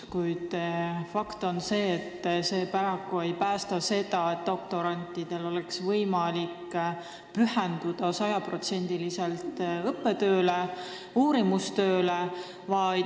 Kuid fakt on see, et see paraku ei garanteeri, et doktorantidel oleks võimalik sada protsenti pühenduda õppetööle ja uurimistööle.